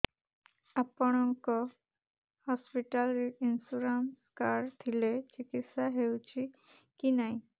ଆପଣଙ୍କ ହସ୍ପିଟାଲ ରେ insurance card ଥିଲେ ଚିକିତ୍ସା ହେଉଛି କି ନାଇଁ